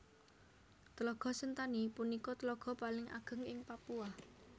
Tlaga Sentani punika tlaga paling ageng ing Papua